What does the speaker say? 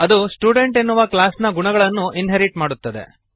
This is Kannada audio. ಅದು ಸ್ಟುಡೆಂಟ್ ಎನ್ನುವ ಕ್ಲಾಸ್ ನ ಗುಣಗಳನ್ನು ಇನ್ಹೆರಿಟ್ ಮಾಡುತ್ತದೆ